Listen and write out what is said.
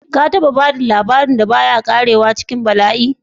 Ka taba ba da labarin da ba ya ƙarewa cikin bala'i?